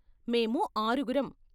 మేము ఆరుగురం.